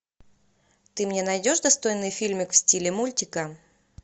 ты мне найдешь достойный фильмик в стиле мультика